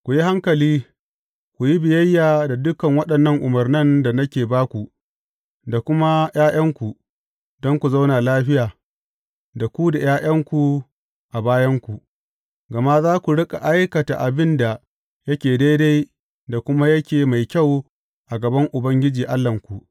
Ku yi hankali, ku yi biyayya da dukan waɗannan umarnan da nake ba ku, da kuma ’ya’yanku, don ku zauna lafiya, da ku da ’ya’yanku a bayanku, gama za ku riƙa aikata abin da yake daidai da kuma yake mai kyau a gaban Ubangiji Allahnku.